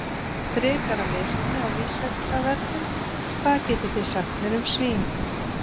Frekara lesefni á Vísindavefnum: Hvað getið þið sagt mér um svín?